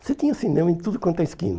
Você tinha cinema em tudo quanto é esquina.